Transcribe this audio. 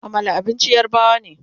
Amala abincin yarbawa ne